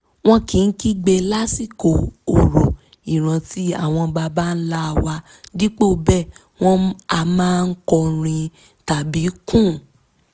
wọn kìí kígbe lásikò orò ìrántí àwọn baba ńlá wa dípò bẹ́ẹ̀ wọn a máa kọrin tàbí kùn